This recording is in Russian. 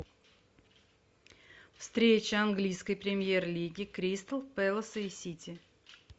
встреча английской премьер лиги кристал пэласа и сити